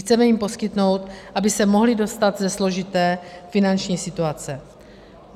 Chceme jim poskytnout, aby se mohly dostat ze složité finanční situace.